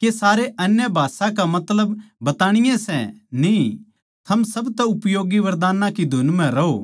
के सारे अन्य भाषा का मतलब बताणीये सै न्ही थम सबतै उपयोगी वरदानां की धुन म्ह रहो